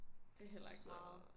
Det heller ikke meget